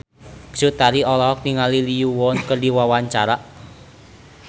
Cut Tari olohok ningali Lee Yo Won keur diwawancara